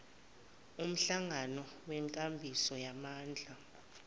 umhlangano wenkambiso yamandla